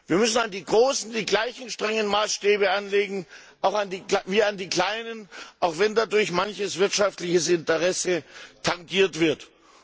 Wir müssen an die großen die gleichen strengen Maßstäbe anlegen wie an die kleinen, auch wenn dadurch manche wirtschaftlichen Interessen tangiert werden.